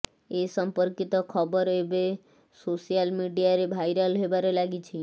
ଏ ସମ୍ପର୍କିତ ଖବର ଏବେ ସୋଶାଲ ମିଡିଆରେ ଭାଇରାଲ ହେବାରେ ଲାଗିଛି